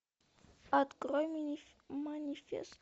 открой манифест